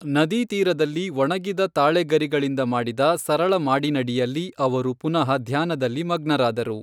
ನದೀ ತೀರದಲ್ಲಿ ಒಣಗಿದ ತಾಳೆ ಗರಿಗಳಿಂದ ಮಾಡಿದ ಸರಳ ಮಾಡಿನಡಿಯಲ್ಲಿ ಅವರು ಪುನಃ ಧ್ಯಾನದಲ್ಲಿ ಮಗ್ನರಾದರು.